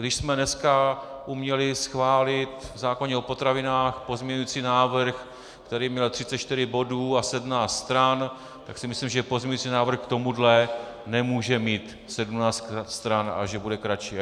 Když jsme dneska uměli schválit v zákoně o potravinách pozměňovací návrh, který měl 34 bodů a 17 stran, tak si myslím, že pozměňovací návrh k tomuhle nemůže mít 17 stran a že bude kratší.